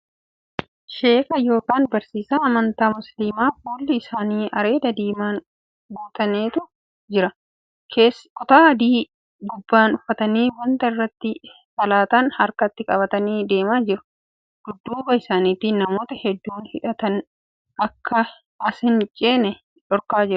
Sheeka yookan barsiisaa amantii Musliimaa fuulli isaanii areeda diimaan guutanetu jira. Kutaa adii gubbaan uffatanii wanta irrattti salaatan harkatti qabatanii deemaa jiru. Dudduuba isaanitti namoota hedduun hidhataan akka as hin ceene dhorkaa jira.